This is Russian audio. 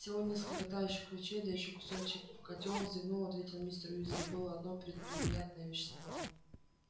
всего несколько тающих ключей да ещё кусачий котёл зевнув ответил мистер уизли было одно пренеприятное вещество